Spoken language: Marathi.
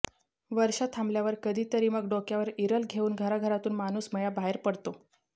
वर्षा थांबल्यावर कधी तरी मग डोक्यावर इरलं घेऊन घराघरांतून माणूसमेळा बाहेर पडतो